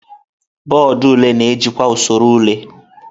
Bọọdụ ule na-ejikwa usoro ule.